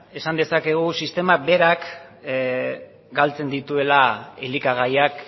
esan dezakegu sistema berak galtzen dituela elikagaiak